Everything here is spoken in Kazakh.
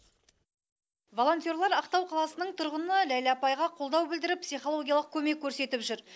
волонтерлар ақтау қаласының тұрғыны ләйлә апайға қолдау білдіріп психологиялық көмек көрсетіп жүр